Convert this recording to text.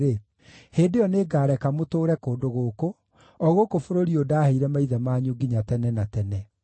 hĩndĩ ĩyo nĩngareka mũtũũre kũndũ gũkũ, o gũkũ bũrũri ũyũ ndaheire maithe manyu nginya tene na tene.